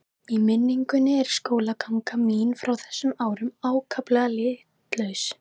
Í minningunni er skólaganga mín frá þessum árum ákaflega litlaus.